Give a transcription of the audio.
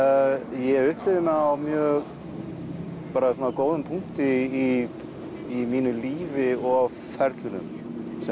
ég upplifi mig á mjög góðum punkti í mínu lífi og ferlinum sem